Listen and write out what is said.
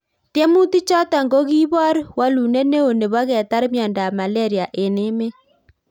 Tiemutik chotok ko kiibor walunet neo neboo ketar miondop Malaria eng emeet